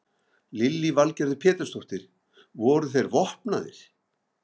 Lillý Valgerður Pétursdóttir: Voru þeir vopnaðir?